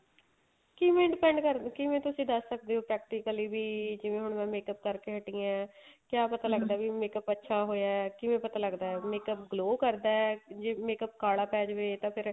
ਕਿਵੇਂ depend ਕਰਦਾ ਕਿਵੇਂ ਤੁਸੀਂ ਦੱਸ ਸਕਦੇ ਓ practically ਵੀ ਜਿਵੇਂ ਹੁਣ makeup ਕਰਕੇ ਹਟੀ ਏ ਕਿਆ ਪਤਾ ਵੀ makeup ਅੱਛਾ ਹੋਇਆ ਕਿਵੇਂ ਪਤਾ ਲੱਗਦਾ makeup glow ਕਰਦਾ ਲੱਗਦਾ ਜੇ makeup ਕਾਲਾ ਪੈ ਜਾਵੇ ਤਾਂ ਫੇਰ